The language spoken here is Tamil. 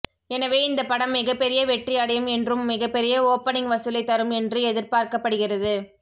எனவே இந்தப் படம் மிகப்பெரிய வெற்றி அடையும் என்றும் மிகப்பெரிய ஓப்பனிங் வசூலை தரும் என்று எதிர்பார்க்கப்படுகிறது